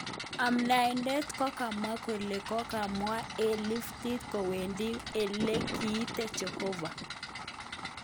Amdaitet kokamwa kole kokwamen en liftit kokwendi ele kiotet jehova